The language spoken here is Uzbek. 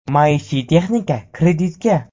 Maishiy texnika kreditga!.